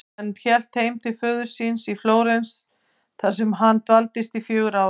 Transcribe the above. Hann hélt heim til föður síns í Flórens þar sem hann dvaldist í fjögur ár.